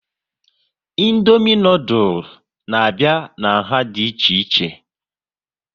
Indomie noodules n'abia n'nha dị ichè ichè